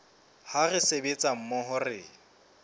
ha re sebetsa mmoho re